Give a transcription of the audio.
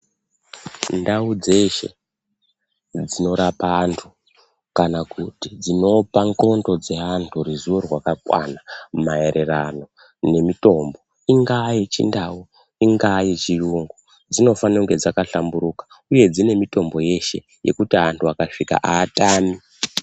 Ndau dzeshe dzinorapa anhu kana kuti dzinopa nxlondo dzeanhu ruzivo rwakakwana maererano nemitombo ingaa yechindau ,ingaa yechiyungu dzinofane kunge dzakahlamburuka uye dzine mitombo yeshe yekuti anhu akasvika atami.